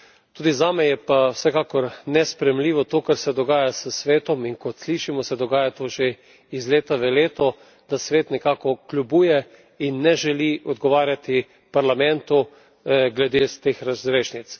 Tudi zame je pa vsekakor nesprejemljivo to, kar se dogaja s Svetom, in kot slišimo se dogaja to že iz leta v leto, da Svet nekako kljubuje in ne želi odgovarjati Parlamentu glede teh razrešnic.